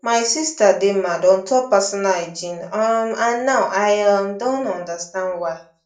my sister dey mad on top personal hygiene um and now i um don understand why